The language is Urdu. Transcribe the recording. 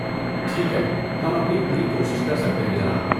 ٹھیک ہے، ہم اپنی پوری کوشش کر سکتے ہیں، جناب۔